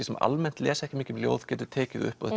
sem almennt les ekki mikið ljóð getur tekið upp og